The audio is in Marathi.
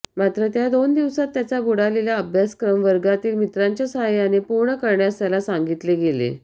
मात्र त्या दोन दिवसात त्याचा बुडालेला अभ्यासक्रम वर्गातील मित्रांच्या सहाय्याने पूर्ण करण्यास त्याला सांगितले गेले